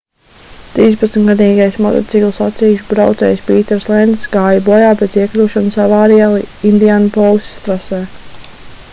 trīspadsmitgadīgais motociklu sacīkšu braucējs pīters lencs gāja bojā pēc iekļūšanas avārijā indianapolisas trasē